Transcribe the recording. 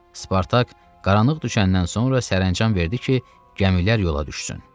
Spartak qaranlıq düşəndən sonra sərəncam verdi ki, gəmilər yola düşsün.